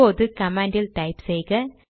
இப்போது command type செய்க